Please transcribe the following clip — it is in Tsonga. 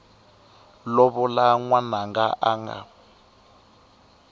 lovola n wananga a nga